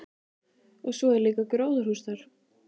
Og svo er líka gróðurhús þar.